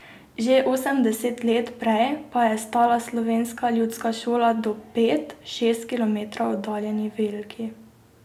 Že osemdeset let prej pa je stala slovenska ljudska šola do pet, šest kilometrov oddaljeni Velki.